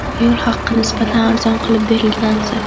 Yo‘l haqi nisbatan arzon qilib belgilansa.